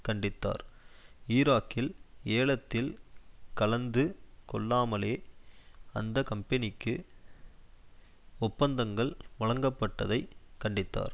கண்டித்தார் ஈராக்கில் ஏலத்தில் கலந்து கொள்ளாமலே அந்த கம்பெனிக்கு ஒப்பந்தங்கள் வழங்கப்பட்டதை கண்டித்தார்